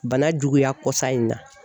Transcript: Bana juguya kɔsa in na.